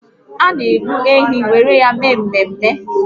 A na egbu ehi were eme mmemme